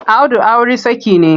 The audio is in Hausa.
Audu auri saki ne.